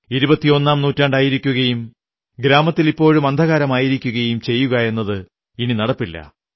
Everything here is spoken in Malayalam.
ഇരുപത്തി ഒന്നാം നൂറ്റാണ്ടായിരിക്കുകയും ഗ്രാമത്തിൽ ഇപ്പോഴും അന്ധകാരമായിരിക്കുകയും ചെയ്യുകയെന്നത് ഇനി നടപ്പില്ല